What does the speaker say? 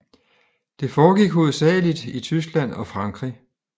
Det foregik hovedsageligt i Tyskland og Frankrig